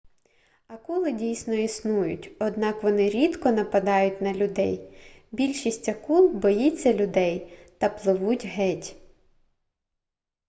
акули дійсно існують однак вони рідко нападають на людей більшість акул боїться людей та пливуть геть